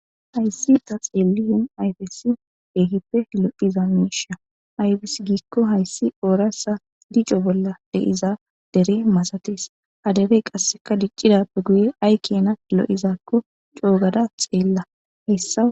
Hayssi ta xeelliyen ayfesi ehippe lo7iza miisha ayfis giikko hayssi oorasa dico bolla deiza dere masatees adebey qasseka diccidappe guye ay kena lo7izakko coogada xeella hessa.